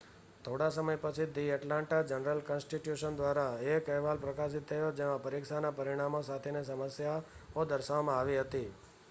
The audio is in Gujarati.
થોડા સમય પછી ધી એટલાન્ટા જર્નલ-કન્સ્ટિટ્યુશન દ્વારા એક અહેવાલ પ્રકાશિત થયો જેમાં પરીક્ષાના પરિણામો સાથેની સમસ્યાઓ દર્શાવવામાં આવી હતી